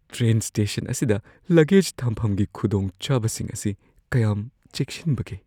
Train station ꯑꯁꯤꯗ ꯂꯒꯦꯖ ꯊꯝꯐꯝꯒꯤ ꯈꯨꯗꯣꯡꯆꯥꯕꯁꯤꯡ ꯑꯁꯤ ꯀꯌꯥꯝ ꯆꯦꯛꯁꯤꯟꯕꯒꯦ?